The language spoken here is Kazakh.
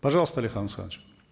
пожалуйста алихан асханович